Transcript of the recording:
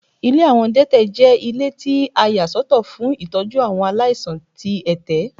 Ilé àwọn adẹ́tẹ̀ jẹ́ ilé tí a yà sọ́tọ̀ fún tọ́jú àwọn aláìsàn tí ẹ̀tẹ̀.